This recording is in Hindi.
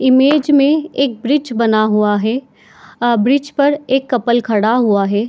इमेज में एक ब्रिज बन हुआ है आ ब्रिज पर एक कपल खड़ा हुआ है।